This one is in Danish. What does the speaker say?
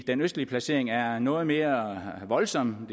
den østlige placering er noget mere voldsom